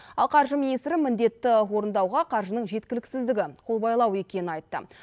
ал қаржы министрі міндетті орындауға қаржының жеткіліксіздігі қолбайлау екенін айтты